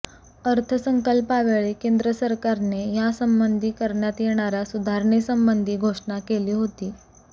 अर्थसंकल्पावेळी केंद्र सरकारने यासंबंधी करण्यात येणाऱया सुधारणेसंबंधी घोषणा केली होती